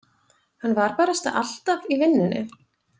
Hann var barasta alltaf í vinnunni.